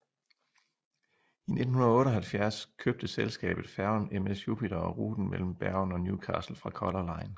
I 1998 købte selskabet færgen MS Jupiter og ruten imellem Bergen og Newcastle fra Color Line